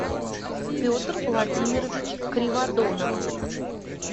петр владимирович криводонов